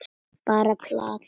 Bara plat.